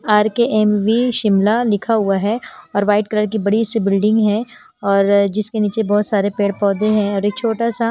Are K M V Shimla लिखा हुआ है और वाइट कलर की बड़ी सी बिल्डिंग हैऔर जिसके नीचे बहुत सारे पेड़-पौधे हैंऔर एक छोटा सा।